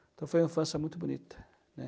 Então foi uma infância muito bonita, né?